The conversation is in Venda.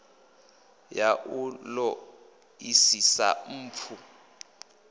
ya u ṱo ḓisisa mpfu